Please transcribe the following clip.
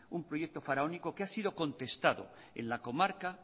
un proyecto faraónico que ha sido contestado en la comarca